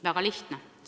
Väga lihtne!